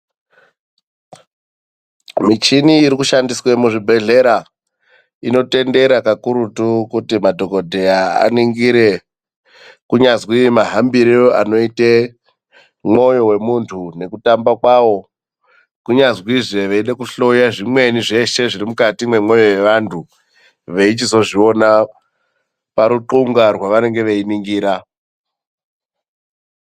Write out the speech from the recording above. Muchini iri kushandiswe muzvibhedhlera inotendera kakurutu kuti madhogodheya aningire, kunyazwi mahambire anoite mwoyo wemunhtu nekutamba kwawo. Kunyazwizve veyida kuhloya zvimweni zveshe zviri mukati memwoyo yevanhtu ,veyichizviona paruxunga hwavanenge veyiningira.